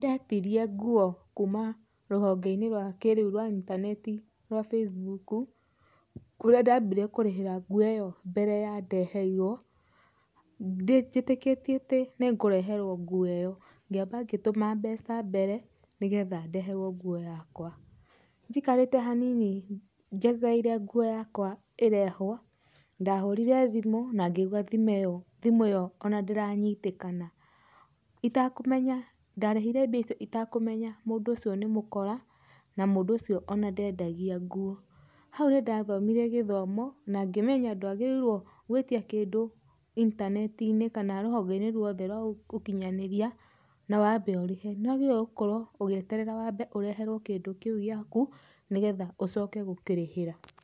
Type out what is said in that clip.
Nĩndetirie nguo kuuma rũhongeinĩ rwa kĩrĩu rwa intaneti Facebook kũrĩa ndabire kũrĩhĩra nguo ĩno mbere ya ndeheirwo mjĩtĩkĩtio atĩ nĩ ngũreherwo nguo ĩyo kĩamba ngĩtũma mbeca mbere nĩgetha ndeherwo nguo yakwa, njikarĩte hanini njetereire nguo yakwa ĩrehwo ndahũrire thimũ na ngĩigua thimũ ĩyo ona ndĩranyitikana itakũmenya ndarĩhire mbeca icio itakũmenya mũndũ ũcio nĩ mũkora ona mũndũ ũcio ona ndendagia nguo ,hau nĩndathomire gĩthomo na ngĩmenya ndwagĩrĩirwo gwĩtia kĩndũ intanetinĩ kana rũhongeinĩ rwothe rwa ũkinyanĩrĩa na wambe ũrĩhe nĩwagĩriirwe wambe ũkorwo ũgĩeterera wambe ũreterwo kĩndũ kĩũ gĩakũ nĩgetha ũcoke gũkĩrĩhĩra.